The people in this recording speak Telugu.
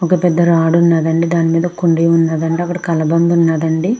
వక పేద రోడ్ ఉనది అంది. అక్కడ వక పేద కలబడ ఉనది అన్నది కనైపెస్త్గునది.